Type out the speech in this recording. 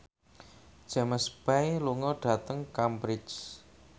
James Bay lunga dhateng Cambridge